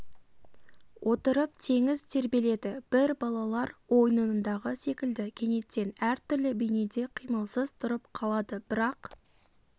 отырып теңіз тербеледі бір балалар ойынындағы секілді кенеттен әр түрлі бейнеде қимылсыз тұрып қалады бірақ